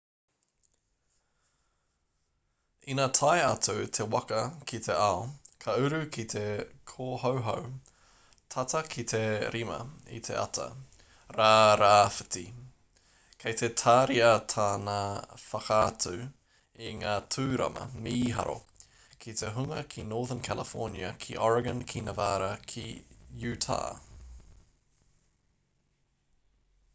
ina tae atu te waka ki te ao ka uru ki te kōhauhau tata ki te 5 i te ata rā rāwhiti kei te tāria tāna whakaatu i ngā tūrama mīharo ki te hunga ki northern california ki oregon ki nevada ki utah